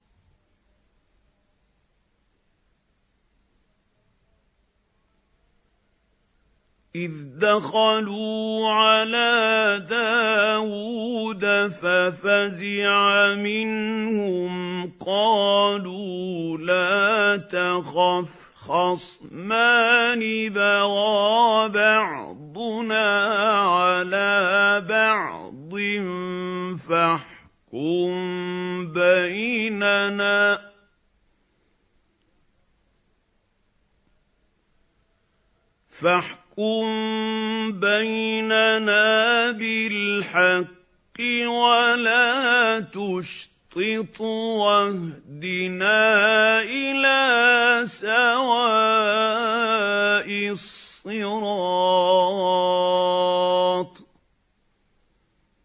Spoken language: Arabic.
إِذْ دَخَلُوا عَلَىٰ دَاوُودَ فَفَزِعَ مِنْهُمْ ۖ قَالُوا لَا تَخَفْ ۖ خَصْمَانِ بَغَىٰ بَعْضُنَا عَلَىٰ بَعْضٍ فَاحْكُم بَيْنَنَا بِالْحَقِّ وَلَا تُشْطِطْ وَاهْدِنَا إِلَىٰ سَوَاءِ الصِّرَاطِ